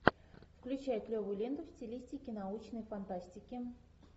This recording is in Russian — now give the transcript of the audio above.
включай клевую ленту в стилистике научной фантастики